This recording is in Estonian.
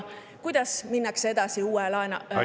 Kuidas minnakse edasi uue laevahankega?